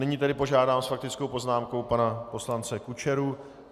Nyní tedy požádám s faktickou poznámkou pana poslance Kučeru.